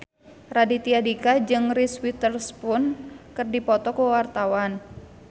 Raditya Dika jeung Reese Witherspoon keur dipoto ku wartawan